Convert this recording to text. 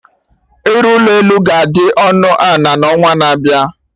Ịrụ ụlọ elu ga-adị ọnụ ana na onwa na-abịa